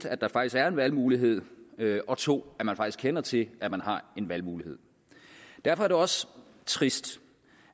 at der faktisk er en valgmulighed og 2 at man faktisk kender til at man har en valgmulighed derfor er det også trist